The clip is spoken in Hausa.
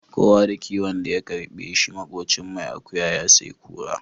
Kowa da kiwon da ya karbe shi makocin mai akuya ya sayi kura.